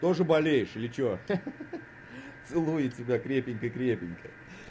тоже болеешь или что ха-ха целую тебя крепко крепко